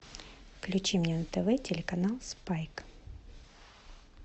включи мне на тв телеканал спайк